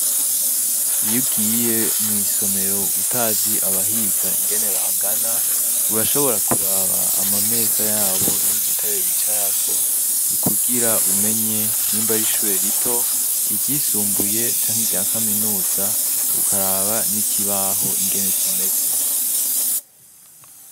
Iyo ugiye mw'isomero utazi abahiga ingene bangana, urashobora kuraba amameza yabo n'udutebe bicarako kugira umenye nimba ari ishure rito, iryisumbuye canke irya kaminuza, ukaraba n'ikibaho ingene kimeze.